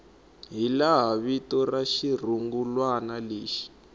hilaha vito ra xirungulwana lexi